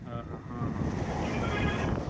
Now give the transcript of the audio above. ହଁ ହଁ ହଁ ହଁ ଦେଖିଚି ।